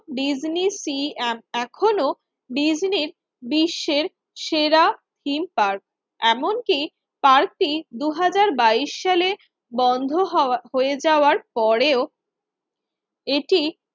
Disney সি এএখনো ডিজনির বিশ্বের সেরা থিম পার্ক। এমন কি পার্কটি দুই হাজার বাইশ সালে বন্ধ হওয়া হয়ে যাওয়ার পরেও এটি